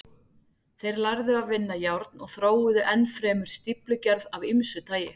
Þeir lærðu að vinna járn og þróuðu enn fremur stíflugerð af ýmsu tagi.